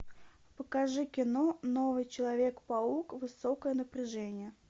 покажи кино новый человек паук высокое напряжение